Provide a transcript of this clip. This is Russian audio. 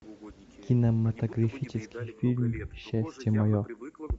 кинематографический фильм счастье мое